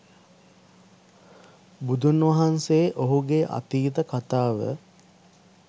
බුදුන් වහන්සේ ඔහුගේ අතීත කථාව